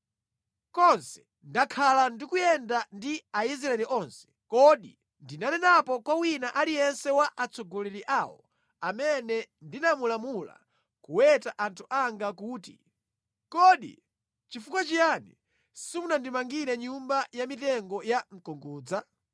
Konse ndakhala ndikuyenda ndi Aisraeli onse, kodi ndinanenapo kwa wina aliyense wa atsogoleri awo amene ndinamulamula kuweta anthu anga kuti, ‘Kodi nʼchifukwa chiyani simunandimangire nyumba ya mitengo ya mkungudza?’ ”